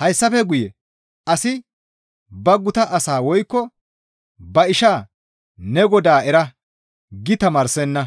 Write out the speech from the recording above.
Hayssafe guye asi ba guta asaa woykko ba ishaa, ‹Ne Godaa era› gi tamaarsenna.